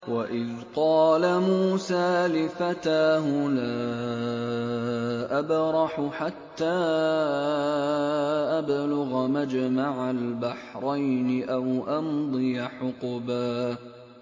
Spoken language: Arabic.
وَإِذْ قَالَ مُوسَىٰ لِفَتَاهُ لَا أَبْرَحُ حَتَّىٰ أَبْلُغَ مَجْمَعَ الْبَحْرَيْنِ أَوْ أَمْضِيَ حُقُبًا